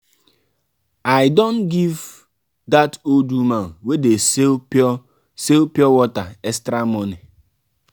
i don give dat old woman wey dey sell pure sell pure water extra money.